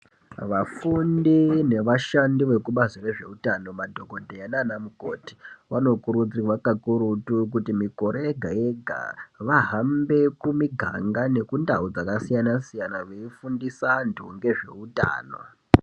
Vafundí nevashandi vekubazi rezveutano madhokodheya nana mukoti vanokurudzirwa kakurutu kuti Mikore yega yega vahambe kumiganga nekundau dzakasiyana siyana Veifundise antu ngezveutano.